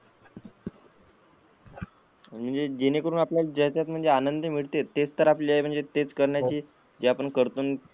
आणि जेणे करून आपल्याला त्याच्यात म्हणजे आनंद मिळते तेच तर आपले म्हणजे तेच करण्याची करतो,